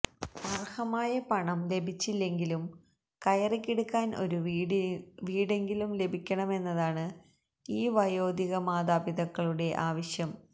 അർഹമായ പണം ലഭിച്ചില്ലെങ്കിലും കയറി കിടക്കാൻ ഒരു വീടെങ്കിലും ലഭിക്കണമെന്നതാണ് ഈ വയോധികമാതാപിതാക്കളുടെ ആവശ്യം